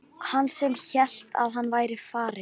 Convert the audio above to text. Hann sem hélt að hann væri farinn!